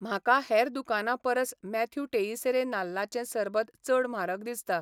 म्हाका हेर दुकानां परस मॅथ्यू टेइसेरे नाल्लाचें सरबत चड म्हारग दिसता